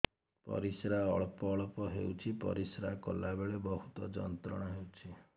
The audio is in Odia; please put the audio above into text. ପରିଶ୍ରା ଅଳ୍ପ ଅଳ୍ପ ହେଉଛି ପରିଶ୍ରା କଲା ବେଳେ ବହୁତ ଯନ୍ତ୍ରଣା ହେଉଛି